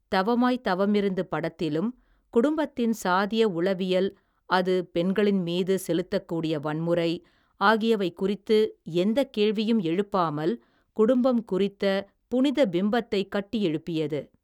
தவமாய்த்தவமிருந்து படத்திலும், குடும்பத்தின் சாதிய உளவியல், அது பெண்களின் மீது, செலுத்தக்கூடிய வன்முறை, ஆகியவை குறித்து எந்த கேள்வியும் எழுப்பாமல், குடும்பம் குறித்த, புனிதப்பிம்பத்தைக் கட்டியெழுப்பியது.